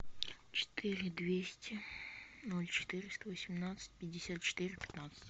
четыре двести ноль четыреста восемнадцать пятьдесят четыре пятнадцать